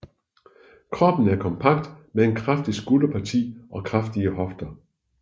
Kroppen er kompakt med et kraftigt skulderparti og kraftige hofter